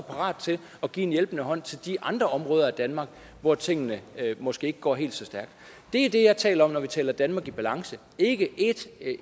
parat til at give en hjælpende hånd til de andre områder i danmark hvor tingene måske ikke går helt så stærkt det er det jeg taler om når vi taler danmark i balance ikke